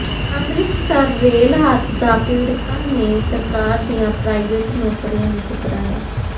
Amritsar rail ਹਾਦਸਾ ਪੀੜਤਾਂ ਨੇ ਸਰਕਾਰ ਦੀਆਂ ਪ੍ਰਾਈਵੇਟ ਨੌਕਰੀਆਂ ਨੂੰ ਠੁਕਰਾਇਆ